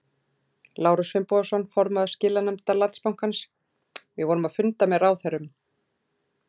Lárus Finnbogason, formaður skilanefndar Landsbankans: Við vorum að funda með ráðherrum?